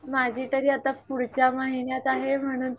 माझी तरी आता पुढच्या महिन्यात आहे म्हणून